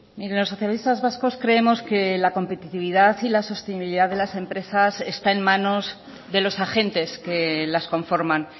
mire los socialistas vascos creemos que la competitividad y la sostenibilidad de las empresas está en manos de los agentes que las conforman